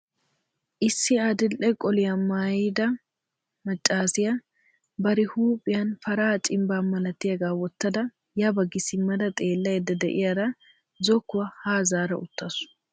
Issi adil"e qoliyaa maayyidi maccassiya bari huuphiyaan para cimbbaa malatiyaagaa wottada ya baggi simmada xeellaydda de'iyaara zokkuwaa ha zaara uttaasu.